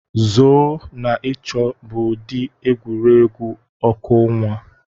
zoo na ịchọ bụ ụdị egwuregwu ọkụ ọnwa.